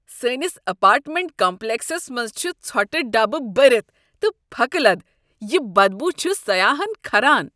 سانِس apartment کمپلیکسس منٛز چھ ژھوٹہٕ ڈبہٕ بٔرتھ تہٕ پھكہٕ لد تہ یہِ بدبوٗ چھُ سیاحن كھران ۔